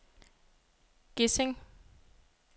Gesing